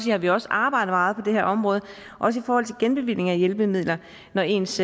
har vi også arbejdet meget på det her område også i forhold til genbevilling af hjælpemidler når ens